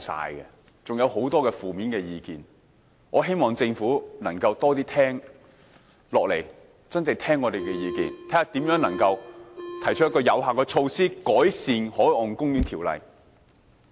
我還有很多負面意見，希望政府能夠多聆聽，真正聆聽我們的意見，看看如何能夠提出有效措施，改善《海岸公園條例》。